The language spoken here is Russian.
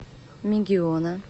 мегиона